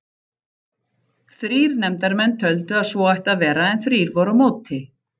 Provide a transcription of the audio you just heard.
Þrír nefndarmenn töldu að svo ætti að vera en þrír voru á móti.